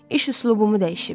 İş üslubumu dəyişib.